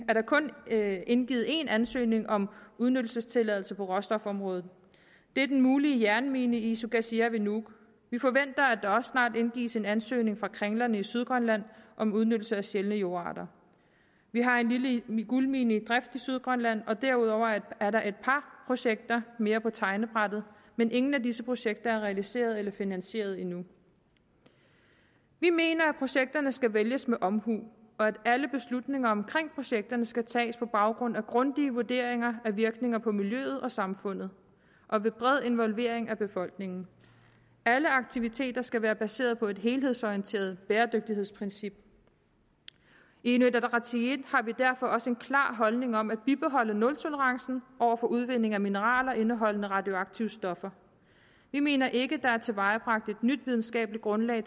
der kun indgivet én ansøgning om udnyttelsestilladelse på råstofområdet det er den mulige jernmine i isukasia ved nuuk vi forventer at der også snart indgives en ansøgning fra kringlerne i sydgrønland om udnyttelse af sjældne jordarter vi har en lille guldmine i drift i sydgrønland og derudover er der et par projekter mere på tegnebrættet men ingen af disse projekter er realiseret eller finansieret endnu vi mener at projekterne skal vælges med omhu og at alle beslutninger omkring projekterne skal tages på baggrund af grundige vurderinger af virkninger på miljøet og samfundet og ved bred involvering af befolkningen alle aktiviteter skal være baseret på et helhedsorienteret bæredygtighedsprincip i inuit ataqatigiit har vi derfor også en klar holdning om at bibeholde nultolerancen over for udvinding af mineraler indeholdende radioaktive stoffer vi mener ikke der er tilvejebragt et nyt videnskabeligt grundlag